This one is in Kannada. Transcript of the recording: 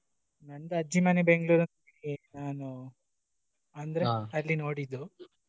ನಂದು ಅಜ್ಜಿ ಮನೆ Bengalore ನಾನು ಅಲ್ಲಿ ನೋಡಿದ್ದು.